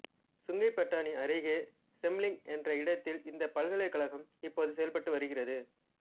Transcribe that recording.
Sungai Petani அருகே Semeling என்ற இடத்தில் இந்தப் பல்கலைக்கழகம் இப்போது செயல்பட்டு வருகிறது